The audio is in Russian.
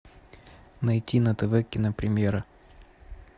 найти на тв кинопремьера